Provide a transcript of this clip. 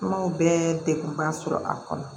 Kumaw bɛɛ degunba sɔrɔ a kɔnɔ